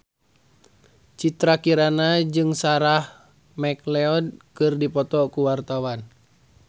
Citra Kirana jeung Sarah McLeod keur dipoto ku wartawan